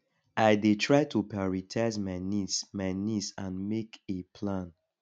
i dey try to prioritize my needs my needs and make a plan